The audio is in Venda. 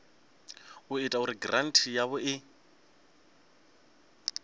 ita uri giranthi yavho i